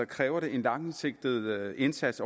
kræver det en langsigtet indsats